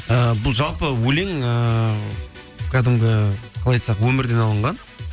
і бұл жалпы өлең ыыы кәдімгі қалай айтсақ өмірден алынған